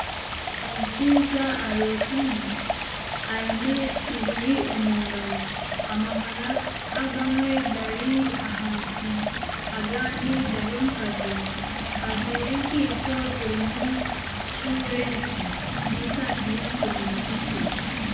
Omushaija arotami aine ihuri omu ngaro, amahuri agamwe gari ahansi, agandi gari omu kaveera, ajwire enkaito zirimu sureesi n'esaati y'emikono migufu